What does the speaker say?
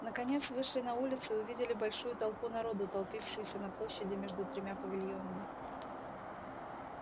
наконец вышли на улицу и увидели большую толпу народу толпившуюся на площади между тремя павильонами